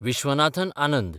Viswanathan Anand